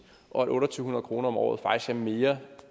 og at otte hundrede kroner om året faktisk er mere